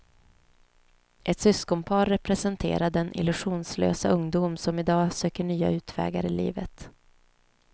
Ett syskonpar representerar den illusionslösa ungdom som idag söker nya utvägar i livet.